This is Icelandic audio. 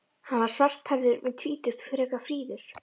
Hann var svarthærður, um tvítugt, frekar fríður.